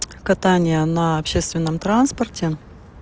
катание на общественном транспорте